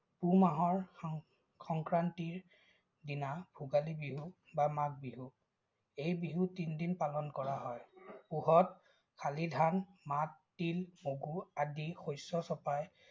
পুহ মাহৰ সংক্ৰান্তীৰ দিনা ভোগালী বিহু বা মাঘ বিহু। এই বিহু তিনদিন পালন কৰা হয়। পুহত শালিধান, মাহ, তিল, মগু, আদি শস্য চপাই